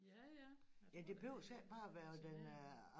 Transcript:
Ja ja jeg tror da det er fascinerende